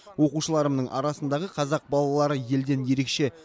оқушыларымның арасындағы қазақ балалары елден ерекше